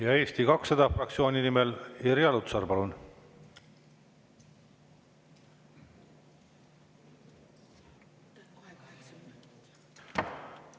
Ja Eesti 200 fraktsiooni nimel Irja Lutsar, palun!